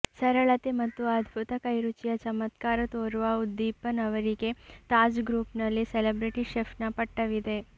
ಸರಳತೆ ಮತ್ತು ಅದ್ಭುತ ಕೈರುಚಿಯ ಚಮತ್ಕಾರ ತೋರುವ ಉದ್ದೀಪನ್ ಅವರಿಗೆ ತಾಜ್ ಗ್ರೂಪ್ನಲ್ಲಿ ಸೆಲಬ್ರಿಟಿ ಶೆಫ್ನ ಪಟ್ಟವಿದೆ